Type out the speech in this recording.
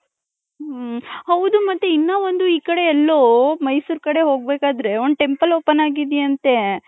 ಹ್ಮ್ಮ್ ಹೌದು ಮತ್ತೆ ಇನ್ನ ಒಂದು ಈ ಕಡೆ ಎಲ್ಲೊ ಮೈಸೂರ್ ಕಡೆ ಹೋಗಬೇಕಾದ್ರೆ ಒಂದ್ temple open ಆಗಿದ್ ಯಂತೆ .